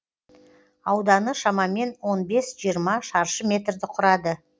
ауданы шамамен он бес жиырма шаршы метрді құрады